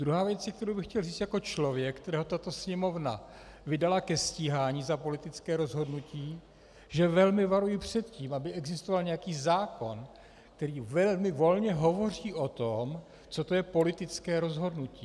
Druhá věc, kterou bych chtěl říct jako člověk, kterého tato Sněmovna vydala ke stíhání za politické rozhodnutí, že velmi varuji před tím, aby existoval nějaký zákon, který velmi volně hovoří o tom, co to je politické rozhodnutí.